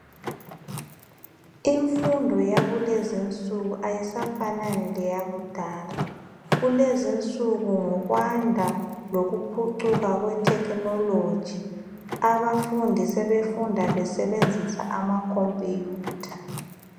Imfundo yakulezinsuku ayisafanani leyakudala. Kulezinsuku ngokwanda lokuphucuka kwethekhinologi abafundi sebefunda besebenzisa ama khompuyutha.